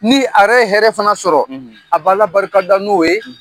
Ni a yɛrɛ ye hɛrɛ fana sɔrɔ a b'Ala barika da n'o ye.